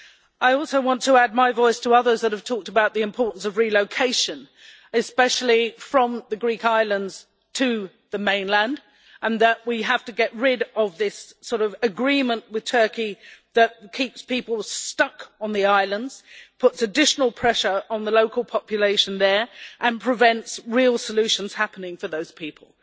I also want to add my voice to others that have talked about the importance of relocation, especially from the Greek islands to the mainland, and that we have to get rid of this agreement with Turkey that keeps people stuck on the islands, puts additional pressure on the local population there and prevents real solutions happening for those people.